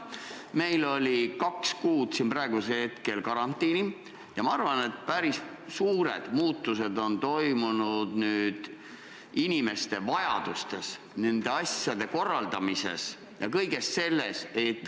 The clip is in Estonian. Meil oli kaks kuud karantiini ja ma arvan, et päris suured muutused on toimunud inimeste vajadustes, asjade korraldamises ja kõiges selles.